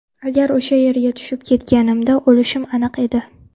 Agar o‘sha yerga tushib ketganimda o‘lishim aniq edi.